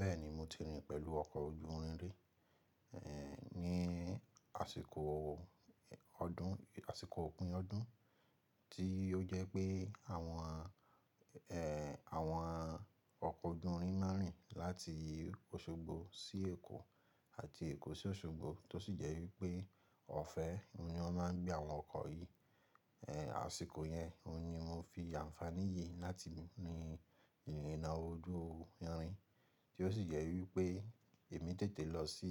Bẹ́ẹ̀ni mo ti rìn pẹ̀lú ọkọ̀ ojú irin rí, eeh, ní àsìkò o ọdún-- àsìkò òpin ọdún tí ó jẹ́ pé àwọn, eeh, àwọn ọkọ̀ ojú irin máa rìn láti Òṣogbo sí Èkó àti Èkó sí Òṣogbo tó sì jẹ́ wípé ọ̀fẹ́ ni wọ́n máa ń gbé àwọn ọkọ̀ yìí. Eeh, àsìkò yẹn ni mo fi àǹfàní yìí láti rìn ìrìnà ojú irin tí ó sì jẹ́ wípé èmi tètè lọ sí,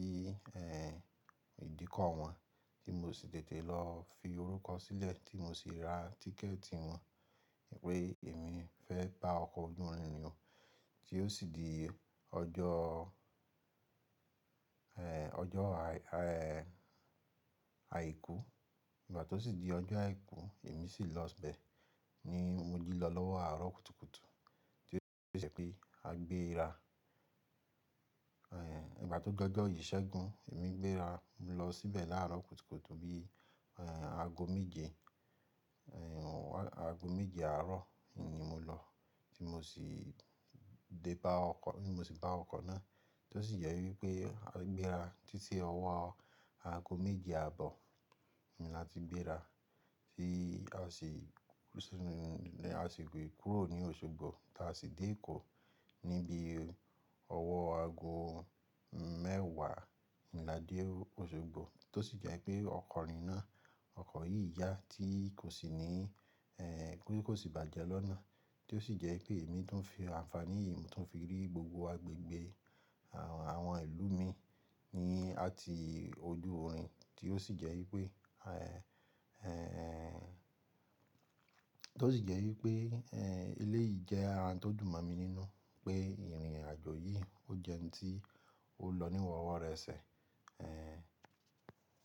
eeh, ìdíkọ̀ wọn tí mo sì tètè lọ fi orúkọ sílẹ̀ tí mo sì ra tíkẹ̀ẹ̀tì wọn wípé èmi fẹ́ bá ọkọ̀ ojú irin rìn o. Tí ó sì di ọjọ́, eeh, ọjọ́ àì, eeh, àìkú ìgbà tó sì di ọjọ́ àìkú èmi sì lọ bẹ̀ ní mo jí lọ lọ́wọ́ àárọ̀ kùtùkùtù tí ó sì jẹ́ pé a gbé e ra. Eeh, ìgbà tó dọ jọ ìṣẹ́gun èmi gbé ra, mo lọ síbẹ̀ láàárọ̀ kùtùkùtù bí, eeh, ago méje, eeh, à ago méje àárọ̀ ni mo lọ tí mo sì dé bá ọkọ̀-- tí mo sì bá ọkọ̀ náà tó sì jẹ́ wípé a gbéra títí ọwọ́ ago méje àbọ̀ ni a ti gbé ra tí a sì, a sì gbe kúrò ní Òṣogbo táa sì dé Èkó níbi ọwọ́ ago mẹ́wàá oun lade Òṣogbo tó sì jẹ́ pé ọkọ̀ rìn náà, ọkọ̀ yìí yá tí kò sì ní, eeh, pé kó sì bàjẹ́ lọ́nà tí ó sì jẹ́ pé èmi tun ń fi àǹfàní yìí mo tuń fi rí gbogbo agbègbè àwọn ìlú mi ní àti ojú irin tí ó sì jẹ́ wípé, eeh, eeh, tó sì jẹ́ wípé, eeh, eléyìí jẹ́ ara tó dùn mọ́ mi nínú pé ìrìn àjò yìí ó jẹ́ ohun tí ó lọ ní rọwọ rẹ̀ṣẹ̀, eeh.